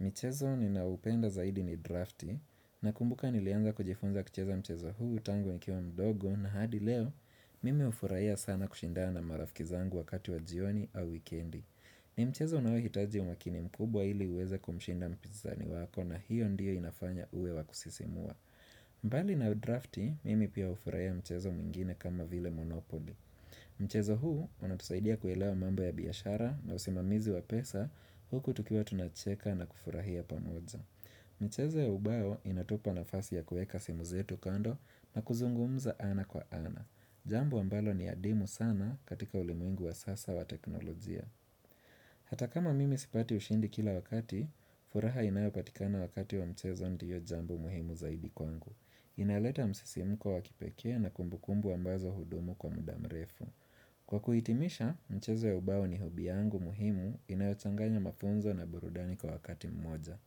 Michezo ninaoupenda zaidi ni drafti na kumbuka nilianza kujifunza kucheza mchezo huu tangu nikiwa mdogo na hadi leo mimi hufurahia sana kushindana marafki zangu wakati wa jioni au wikendi ni mchezo unaohitaji umakini mkubwa ili uweze kumshinda mpizani wako na hiyo ndio inafanya uwe wa kusisimua mbali na drafti mimi pia hufurahia mchezo mwingine kama vile Monopoly Mchezo huu unatusaidia kuelewa mambo ya biashara na usimamizi wa pesa huku tukiwa tunacheka na kufurahia pamoja. Mchezo ya ubao inatupa nafasi ya kueka simu zetu kando na kuzungumza ana kwa ana. Jambo ambalo ni adimu sana katika ulimwengu wa sasa wa teknolojia. Hata kama mimi sipati ushindi kila wakati, furaha inayopatikana wakati wa mchezo ndio jambo muhimu zaidi kwangu. Inaleta msisimuko wa kipekee na kumbukumbu ambazo hudumu kwa muda mrefu. Kwa kuhitimisha, mchezo ya ubao ni hobby yangu muhimu, inayochanganya mafunzo na burudani kwa wakati mmoja.